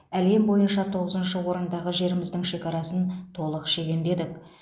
әлем бойынша тоғызыншы орындағы жеріміздің шекарасын толық шегендедік